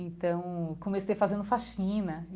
Então, comecei fazendo faxina.